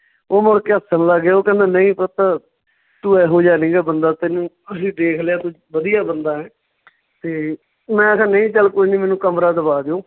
ਉਹ ਮੁੜ ਕੇ ਹੱਸਣ ਲੱਗ ਗਏ, ਉਹ ਕਹਿੰਦੇ ਨਈਂ ਪੁੱਤ ਤੂੰ ਇਹੋ ਜਿਹਾ ਨਹੀਂ ਗਾ ਬੰਦਾ ਤੈਨੂੰ ਅਸੀਂ ਦੇਖ ਲਿਆ ਤੂੰ ਵਧੀਆ ਬੰਦਾ ਹੈ ਤੇ ਮੈਂ ਕਿਹਾ ਨਹੀਂ ਚੱਲ ਕੋਈ ਨੀ ਮੈਨੂੰ ਕਮਰਾ ਦਵਾ ਦਿਉ